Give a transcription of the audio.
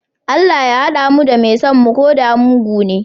Allah Ya hada mu da mai son mu koda mugune?